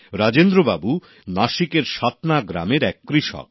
রাজেন্দ্রবাবু নাসিকের সাতনা গ্রামের এক কৃষক